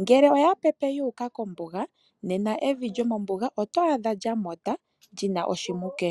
ngele oya pepe yu uka kombuga, nena evi lyomombuga oto adha lya tuta, lina uututo.